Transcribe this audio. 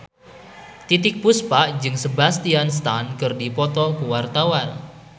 Titiek Puspa jeung Sebastian Stan keur dipoto ku wartawan